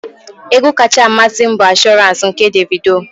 Egwu kacha amasị m bụ Assurance nke Davido.